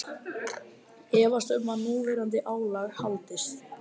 Efast um að núverandi álag haldist